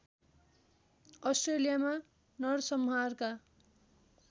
अस्ट्रेलियामा नरसंहारका